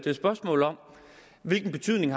et spørgsmål om hvilken betydning